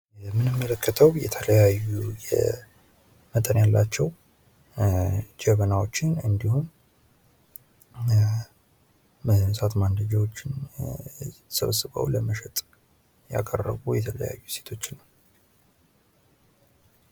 የምንመለከተው የተለያዩ መጠን ያላቸው ጀበናዎችን፤ እንዲሁም እሳት ማንደጃዎችን ሰብስበው ለመሸጥ ያቀረቡ የተለያዩ ሴቶችን ነው።